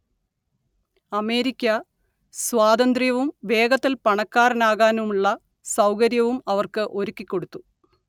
America സ്വാതന്ത്ര്യവും വേഗത്തിൽ പണക്കാരനാകാനുള്ള സൗകര്യവും അവർക്ക് ഒരുക്കിക്കൊടുത്തു